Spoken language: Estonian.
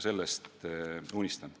Sellestki ma unistan.